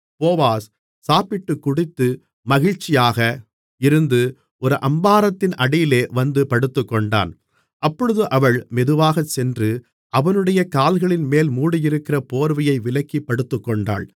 Boaz சாப்பிட்டுக் குடித்து மகிழ்ச்சியாக இருந்து ஒரு அம்பாரத்தின் அடியிலே வந்து படுத்துக்கொண்டான் அப்பொழுது அவள் மெதுவாகச்சென்று அவனுடைய கால்களின்மேல் மூடியிருக்கிற போர்வையை விலக்கிப் படுத்துக்கொண்டாள்